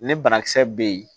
Ne banakisɛ bɛ yen